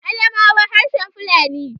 Adamawa harshen Fulani